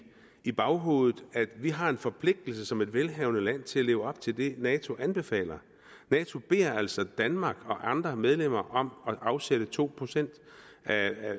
i baghovedet at vi har en forpligtelse som et velhavende land til at leve op til det nato anbefaler nato beder altså danmark og andre medlemmer om at afsætte to procent